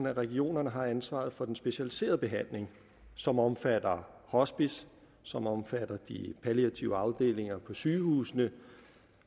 at regionerne har ansvaret for den specialiserede behandling som omfatter hospicer som omfatter de palliative afdelinger på sygehusene